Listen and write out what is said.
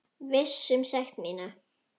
Viss um sekt mína.